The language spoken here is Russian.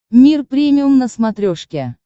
мир премиум на смотрешке